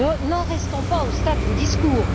N'en restons pas au stade des discours.